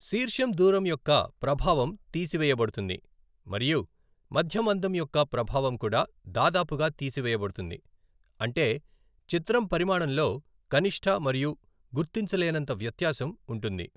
శీర్షం దూరం యొక్క ప్రభావం తీసివేయబడుతుంది మరియు మధ్య మందం యొక్క ప్రభావం కూడా దాదాపుగా తీసివేయబడుతుంది, అంటే చిత్రం పరిమాణంలో కనిష్ట మరియు గుర్తించలేనంత వ్యత్యాసం ఉంటుంది.